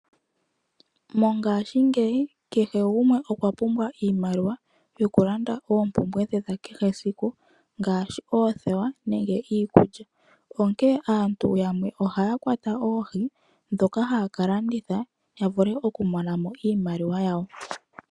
Mongashingeyi kehe gumwe okwa pumbwa iimaliwa, yoku landa oompumbwe dhe dha kehe siku ngashi oothewa nenge iikulya, onkee aantu yamwe ohaya kwata oohi, dhoka haya ka landitha, ya vule oku mona mo iimaliwa yawo.